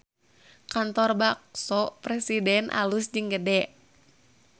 Kantor Bakso Presiden alus jeung gede